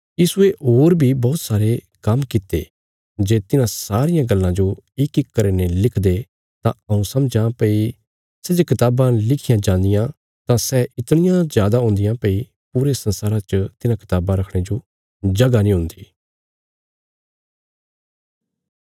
यीशुये होर बी बौहत सारे काम्म कित्ते जे तिन्हां सारियां गल्लां जो इकइक करीने लिखदे तां हऊँ समझां भई सै जे कताबां लिखियां जांदियां तां सै इतणियां जादा हुन्दियां भई पूरे संसारा च तिन्हां कताबां रखणे जो जगह नीं हुन्दी